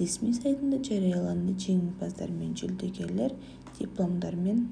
ресми сайтында жарияланды жеңімпаздар мен жүлдегерлер дипломдармен